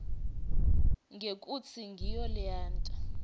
ngekutsi ngiyo leyenta